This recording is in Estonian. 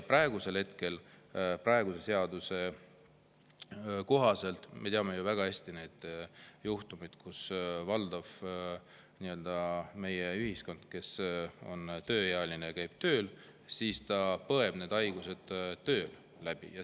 Praeguse seaduse – me teame ju väga hästi neid juhtumeid – valdav osa meie tööealisest konnast käib tööl ja põeb haigused tööl läbi.